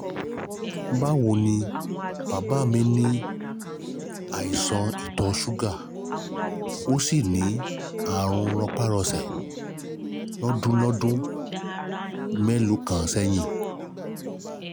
Báwo ni? Bàbá mí ní àìsàn ìtọ̀ ṣúgà, ó sì ní àrùn rọpárọsẹ̀ lọ́dún lọ́dún mélòó kan sẹ́yìn